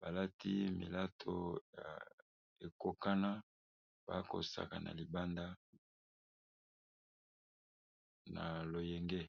balati milato ya ekokana bakosaka na libanda na loyenge.